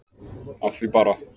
Af því bara.